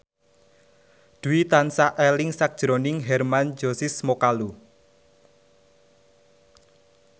Dwi tansah eling sakjroning Hermann Josis Mokalu